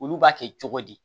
Olu b'a kɛ cogo di